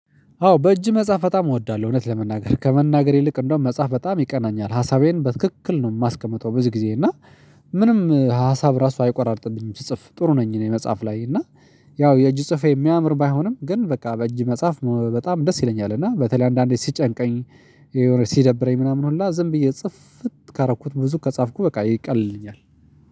አዎ በእጅ መጽሐፍ በጣም እወዳለሁ እውነት ለመናገር ከመናገር ይልቅ እንደውም መጽሐፍ በጣም ይቀናኛል ሀሳቤን በትክክል ነው የማስቀምጠው ብዙ ጊዜ እና ምንም ሀሳብ ራሱ አይቆራርጥብኝም ስጽፍ ጥሩ ነኝ። እኔ መጽሐፍ ላይ እና ያው የእጅ ጽሁፌ የሚያምር ባይሆንም ግን በቃ በእጅ መጽሐፍ በጣም ደስ ይለኛል። እና በተለይ አንዳንዴ ሲጨንቀኝ ሲደብረኝ ምናምን ሁላ ዝም ብዬ ጽፍት ካረኩት ብዙ ከጻፍኩ በቃ ይቀልልኛል።